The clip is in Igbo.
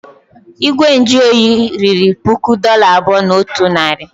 Igwe nju oyi riri puku dollar abụọ na otu narị.